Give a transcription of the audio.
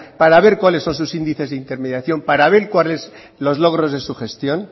para ver cuáles son sus índices de intermediación para ver cuáles son los logros de su gestión